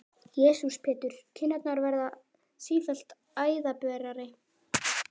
Jesús Pétur, kinnarnar verða sífellt æðaberari!